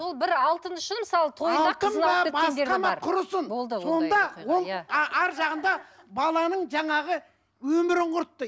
сол бір алтын үшін мысалы тойда арғы жағында баланың жаңағы өмірін құртты